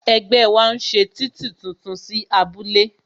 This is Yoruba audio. Ẹgbẹ́ wa ń ṣe títì tuntun sí abúlé